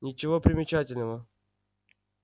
ничего примечательного